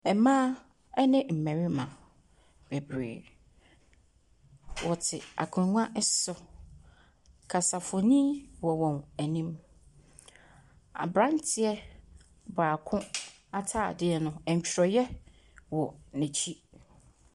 Ɛmaa ɛne mmarima bebree. Wɔte akongwa ɛso. Kasafonyin ɛwɔ wɔn anim. Aberanteɛ baako ataadeɛ no, ɛntworɔyɛ wɔ n'akyi.